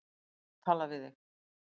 Ég þarf að tala við þig